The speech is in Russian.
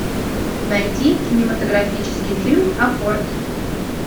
найти кинематографический фильм апорт